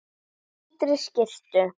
Í hvítri skyrtu.